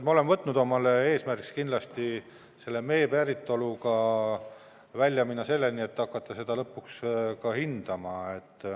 Me oleme omale eesmärgiks võtnud mee päritoluga kindlasti välja minna selleni, et hakata seda lõpuks ka hindama.